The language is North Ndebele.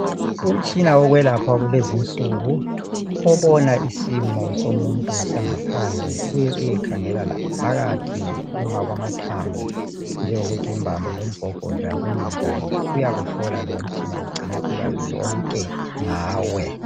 Umtshina wokwelapha kulezinsuku obona isimo somuntu sangaphandle ,uye uyekhangela laphakathi ukuma kwamathambo njengokuthi imbambo lomgogodla kuminjani .Uyakuhlola lowu umtshina ugcine ulwazi lonke ulwazi ngawe .